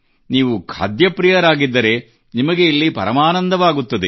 ನೀವು ಖಾದ್ಯಪ್ರಿಯರಾಗಿದ್ದರೆ ನಿಮಗೆ ಇಲ್ಲಿ ಪರಮಾನಂದವಾಗುತ್ತದೆ